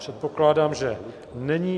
Předpokládám, že není.